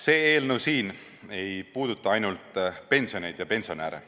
See eelnõu siin ei puuduta ainult pensione ja pensionäre.